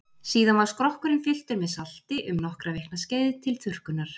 Síðan var skrokkurinn fylltur með salti um nokkra vikna skeið til þurrkunar.